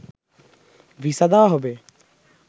visa দেয়া হবে